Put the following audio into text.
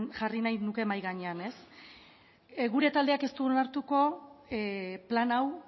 nuke mahai gainean ez gure taldeak ez du onartuko plan hau